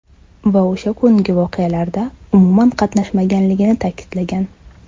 Va o‘sha kungi voqealarda umuman qatnashmaganligini ta’kidlagan.